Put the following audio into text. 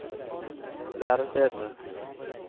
lærestedene